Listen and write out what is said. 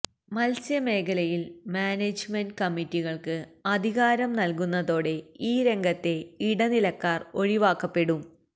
മത്സ്യമേഖലയിൽ management കമ്മിറ്റികൾക്ക് അധികാരം നൽകുന്നതോടെ ഈ രംഗത്തെ ഇടനിലക്കാർ ഒഴിവാക്കപ്പെടും